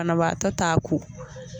Banabaatɔ t'a ko.